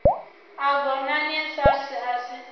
a ngonani sars a si